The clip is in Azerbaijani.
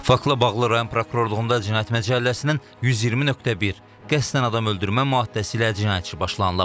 Faktla bağlı rayon prokurorluğunda cinayət məcəlləsinin 120.1 qəsdən adam öldürmə maddəsi ilə cinayət işi başlanılıb.